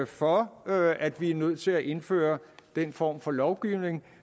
for at at vi er nødt til at indføre den form for lovgivning